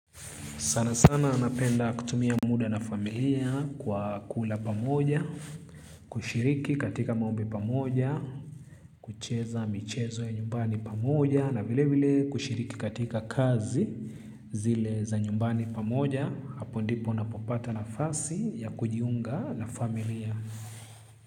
Sana sana napenda kutumia muda na familia kwa kula pamoja, kushiriki katika maombi pamoja, kucheza michezo ya nyumbani pamoja, na vile vile kushiriki katika kazi zile za nyumbani pamoja, hapo ndipo napopata na fasi ya kujiunga na familia.